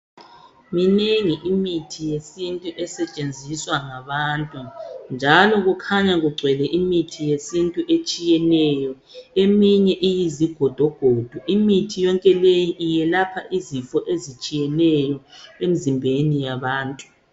Minengi imithi yesintu esetshenziswa ngabantu njalo kukhanya kugcwele imithi yesintu etshiyeneyo eminye iyizigodogodo. Imithi yonke leyi yelapha izifo ezitshiyeneyo emizimbeni yabantu.